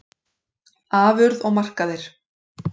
Afurð og markaðir